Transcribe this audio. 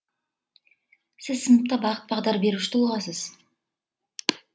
сіз сыныпта бағыт бағдар беруші тұлғасыз